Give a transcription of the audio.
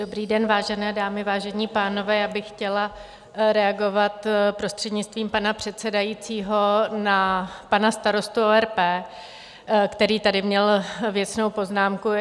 Dobrý den, vážené dámy, vážení pánové, já bych chtěla reagovat, prostřednictvím pana předsedajícího, na pana starostu ORP, který tady měl věcnou poznámku.